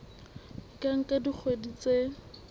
e ka nka dikgwedi tse